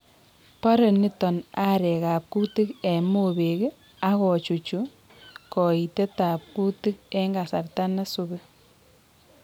borei niton arekab kutik en mopek ak kochuchuch koitetab kutik en kasarta nesubi